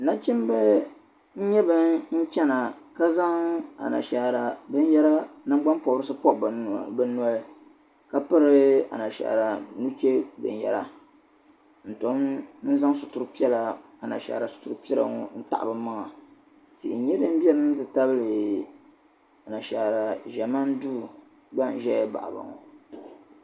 Nachimbi n nyɛ ban chana, ka zaŋ ana shaara bɛn yara, nan gban pɔbrisi n pɔbi bɛ nɔli ka piri a nasara nuche bin yara, n tom n zaŋ anashaara sitiri piɛla ŋɔ n-taɣi bɛ maŋa, tihi nyɛ din beni n ti pahi a na shaara duu gba n zɛya n baɣiba ŋɔ